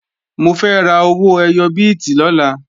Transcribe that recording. Mo fẹ́ ra owó ẹyọ bíìtì lọ́la